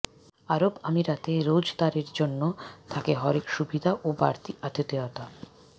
আরব আমিরাতে রোজাদারের জন্য থাকে হরেক সুবিধা ও বাড়তি আতিথেয়তা